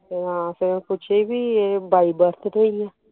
ਤੇ ਪੁੱਛੇ ਕਿ ਏ bi birth ਤੋਂ ਏ